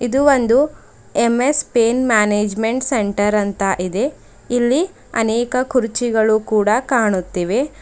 ಇದು ಒಂದು M S pain management centre ಅಂತ ಇದೆ ಇಲ್ಲಿ ಅನೇಕ ಕುರ್ಚಿಗಳು ಕೂಡ ಕಾಣುತ್ತಿವೆ.